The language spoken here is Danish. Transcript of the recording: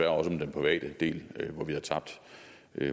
om den private del hvor vi havde tabt